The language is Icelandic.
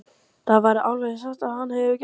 Það væri alveg og þá sagði hann, gefurðu mér?